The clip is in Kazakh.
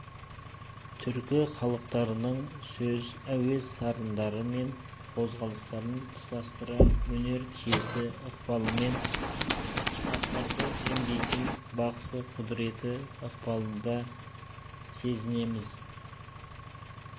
түркі халықтарының сөз әуез сарындары мен қозғалыстарын тұтастыра өнер киесі ықпалымен сырқаттарды емдейтін бақсы құдіреті ықпалында сезінеміз